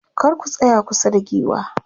kar ku tsaya kusa da giwa